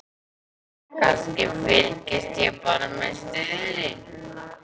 Kannski, fylgist ég bara með stöðunni?